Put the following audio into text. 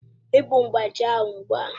Yị́pu mgbájí ahụ ugbu a!